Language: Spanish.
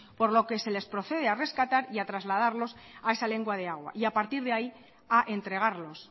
por lo que les procede a rescatar y a trasladarlos a esa lengua de agua y a partir de ahí a entregarlos